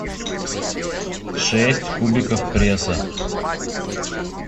шесть кубиков пресса